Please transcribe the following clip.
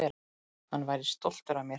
Hann væri stoltur af mér.